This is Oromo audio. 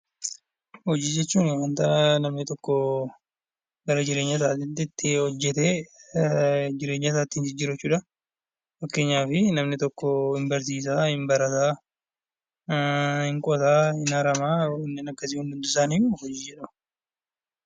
Hojii jechuun waan namni bara jireenya isaatti hojjetee ittiin of jijjiiru jechuudha. Fakkeenyaaf namni tokko hin barata, hin barsiisa, hin qota, hin caraba. Kun hundi isaaniiyyuu hojii jedhamu.